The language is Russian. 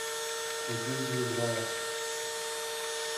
купить ведро